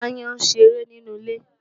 Aáyán ń ṣeré nínú ilé.